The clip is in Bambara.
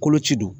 Koloci don